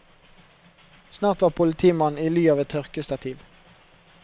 Snart var politimannen i ly av et tørkestativ.